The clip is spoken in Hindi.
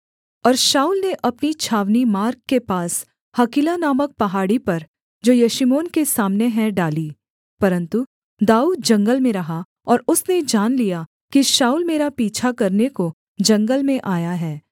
और शाऊल ने अपनी छावनी मार्ग के पास हकीला नामक पहाड़ी पर जो यशीमोन के सामने है डाली परन्तु दाऊद जंगल में रहा और उसने जान लिया कि शाऊल मेरा पीछा करने को जंगल में आया है